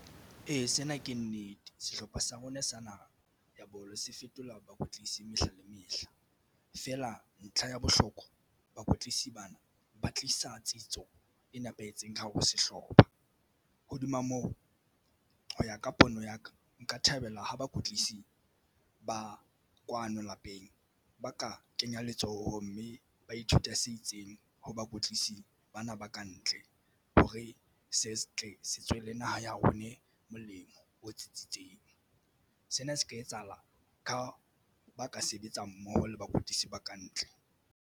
Ee, sena ke nnete sehlopha sa rona sa naha sa bolo se fetola bakwetlisi mehla le mehla feela ntlha ya bohlokwa. Bakwetlisi bana ba tlisa tsebiso e nepahetseng ka hare ho sehlopha. Hodima moo, ho ya ka pono ya ka nka thabela ho bakwetlisi ba kwano lapeng ba ka kenya letsoho mme ba ithuta se itseng ho bakwetlisi bana ba ka ntle hore se tle se tswele naha ya rona e molemo o tsitsitseng. Sena se ka etsahala ka ba ka sebetsa mmoho le bakwetlisi ba ka ntle.